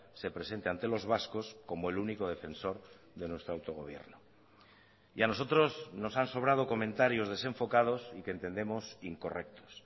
se presente ante los vascos como el único defensor de nuestro autogobierno y a nosotros nos han sobrado comentarios desenfocados y que entendemos incorrectos